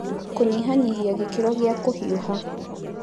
Kũnyihanyihia gĩkĩro gĩa kũhiuha